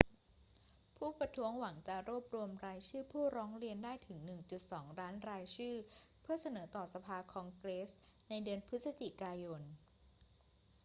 ผู้ประท้วงหวังจะรวบรวมรายชื่อผู้ร้องเรียนได้ถึง 1.2 ล้านรายชื่อเพื่อเสนอต่อสภาคองเกรสในเดือนพฤศจิกายน